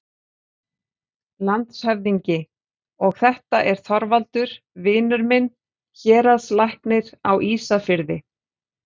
LANDSHÖFÐINGI: Og þetta er Þorvaldur, vinur minn, héraðslæknir á Ísafirði.